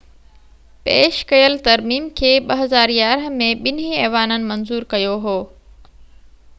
پيش ڪيل ترميم کي 2011 ۾ ٻنهي ايوانن منظور ڪيو هيو